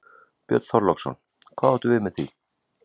Björn Þorláksson: Hvað áttu við með því?